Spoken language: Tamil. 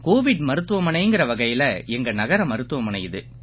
கோவிட் மருத்துவமனைங்கற வகையில எங்க நகர மருத்துவமனை இது